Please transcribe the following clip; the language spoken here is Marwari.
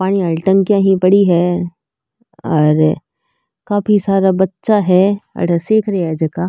पानी आली टंकियां पड़ी है और काफी सारा बच्चा है अठे सीख रेया है जका।